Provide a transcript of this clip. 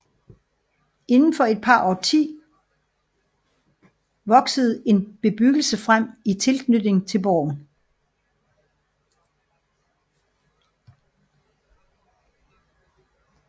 Inden for et par årtier voksede en bebyggelse frem i tilknytning til borgen